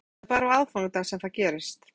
Jóhanna: Það er bara á aðfangadag sem það gerist?